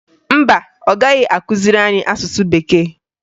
Mba, ọ gaghị akụziri anyị asụsụ Bekee